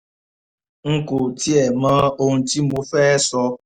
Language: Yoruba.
n kò tiẹ̀ mọ ohun tí mo fẹ́ẹ́ sọ